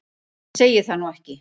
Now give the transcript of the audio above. Ég segi það nú ekki.